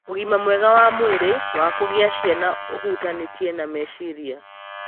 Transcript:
Ũgima mwega wa mwĩrĩ wa kugĩa cĩana ũhutanĩtie na meciria.